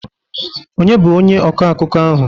Onye bụ onye ọkọ akụkọ ahụ?